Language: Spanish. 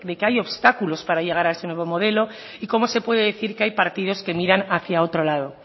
que hay obstáculos para llegar a ese nuevo modelo y cómo se puede decir que hay partidos que miran hacia otro lado